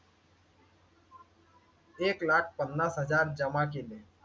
एक लाख पन्नास हजार जमा केले